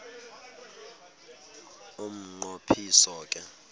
umnqo phiso ke